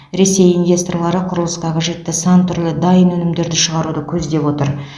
ресей инвесторлары құрылысқа қажетті сан түрлі дайын өнімдерді шығаруды көздеп отыр